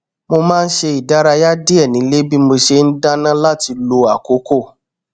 mo má n ṣe ìdárayá díẹ nílé bí mo ṣe n dáná láti lo àkókò